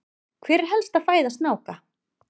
hver er helsta fæða snáka